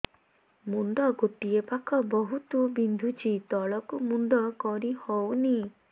ମୁଣ୍ଡ ଗୋଟିଏ ପାଖ ବହୁତୁ ବିନ୍ଧୁଛି ତଳକୁ ମୁଣ୍ଡ କରି ହଉନି